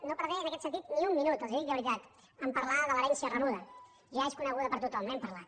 no perdré en aquest sentit ni un minut els ho dic de veritat a parlar de l’herència rebuda ja és coneguda per tothom n’hem parlat